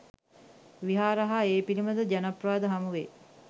විහාර හා ඒ පිළිබඳ ජනප්‍රවාද හමුවෙයි.